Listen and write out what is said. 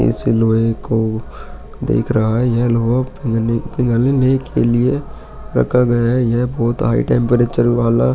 इस लोहे को देख रहा है यह लोहा पिघलने के लिए रखा गया है यह बहुत हाई टेम्प्रेचर वाला --